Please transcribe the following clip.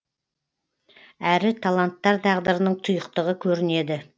әрі таланттар тағдырының тұйықтығы көрінеді